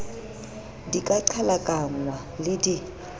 di ka qhalakanngwa le di